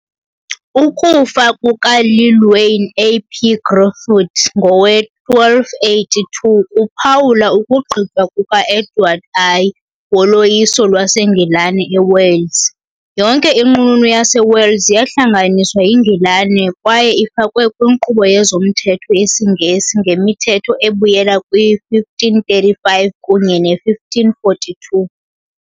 Ukufa kukaLlywelyn ap Gruffudd ngowe-1282 kwaphawula ukugqitywa kuka -Edward I woloyiso lwaseNgilani eWales . Yonke iNqununu yaseWales yahlanganiswa yiNgilani kwaye ifakwe kwinkqubo yezomthetho yesiNgesi ngemithetho ebuyela kwi-1535 kunye ne-1542 .